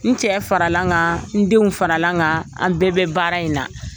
N cɛ faralan kan, n denw faralan kan, an bɛɛ bɛ baara in na.